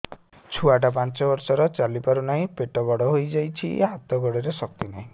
ଛୁଆଟା ପାଞ୍ଚ ବର୍ଷର ଚାଲି ପାରୁ ନାହି ପେଟ ବଡ଼ ହୋଇ ଯାଇଛି ହାତ ଗୋଡ଼ରେ ଶକ୍ତି ନାହିଁ